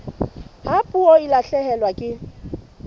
ha puo e lahlehelwa ke